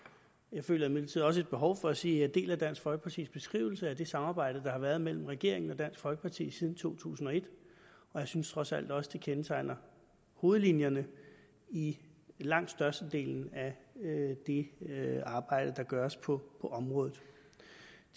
jeg føler imidlertid også et behov for at sige at jeg deler dansk folkepartis beskrivelse af det samarbejde der har været mellem regeringen og dansk folkeparti siden to tusind og et og jeg synes trods alt også at det kendetegner hovedlinjerne i langt størstedelen af det arbejde der gøres på området